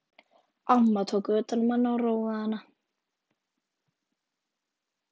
Amma tók utan um hana og róaði hana.